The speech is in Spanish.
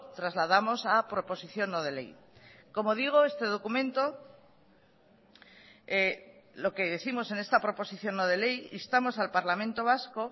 trasladamos a proposición no de ley como digo este documento lo que décimos en esta proposición no de ley instamos al parlamento vasco